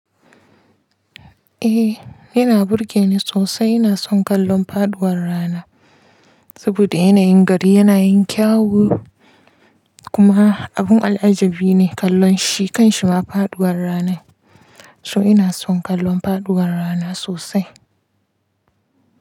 Eh yana burge ni sosai. Ina son kallon faduwar rana saboda yanayin gari yana yin kyawu kuma abun al'ajabi ne kallon shi kan shima faduwar rana. So ina son kallon faduwar rana sosai.